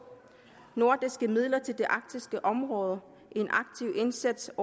nordiske midler til det arktiske område en aktiv indsats